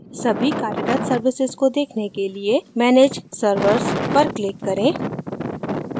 सभी कार्यरत services को देखने के लिए manage servers पर click करें